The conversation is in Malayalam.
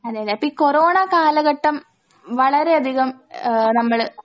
അതെയതെ അപ്പൊ ഈ കൊറോണ കാലഘട്ടം വളരെയധികം ആഹ് നമ്മള്